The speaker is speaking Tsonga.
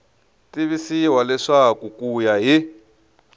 tivisiwa leswaku ku ya hi